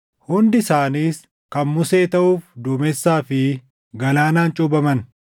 Hundi isaaniis kan Musee taʼuuf duumessaa fi galaanaan cuuphaman.